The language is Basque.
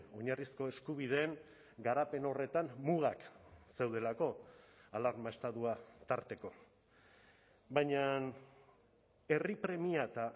oinarrizko eskubideen garapen horretan mugak zeudelako alarma estatua tarteko baina herri premia eta